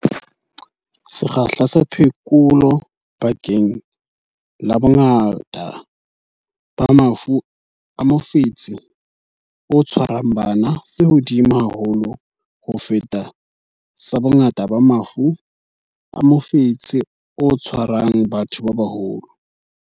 Sekgahla sa phekolo bakeng la bongata ba mafu a mofetshe o tshwarang bana se hodimo haholo ho feta sa bongata ba mafu a mofetshe o tshwarang batho ba baholo.